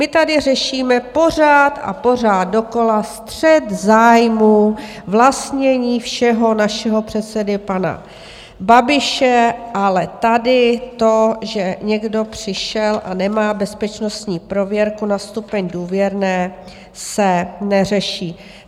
My tady řešíme pořád a pořád dokola střet zájmů vlastnění všeho našeho předsedy pana Babiše, ale tady to, že někdo přišel a nemá bezpečnostní prověrku na stupeň důvěrné, se neřeší.